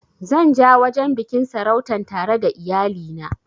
Zan ja wajen biƙin sarautan tare da iyali na